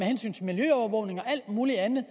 hensyn til miljøovervågning og alt muligt andet